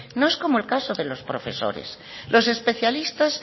no es como el caso de los profesores los especialistas